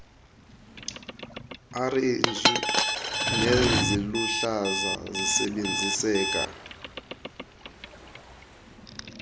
orenji neziluhlaza zisebenziseka